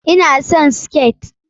Ina son siket.